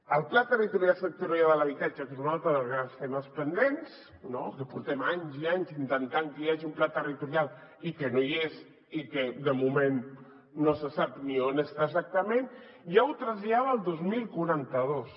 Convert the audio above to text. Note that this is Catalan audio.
el pla territorial sectorial de l’habitatge que és un altre dels grans temes pendents no que portem anys i anys intentant que hi hagi un pla territorial i que no hi és i que de moment no se sap ni on està exactament ja ho trasllada al dos mil quaranta dos